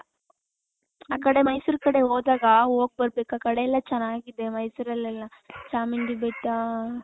ಆ ಕಡೆ ಮೈಸೂರ್ ಕಡೆ ಹೋದಾಗ ಹೋಗ್ ಬರಬೇಕು ಆ ಕಡೆ ಎಲ್ಲಾ ಚೆನ್ನಾಗಿದೆ ಮೈಸೂರ್ ಅಲ್ಲಿ ಎಲ್ಲಾ ಚಾಮುಂಡಿ ಬೆಟ್ಟ .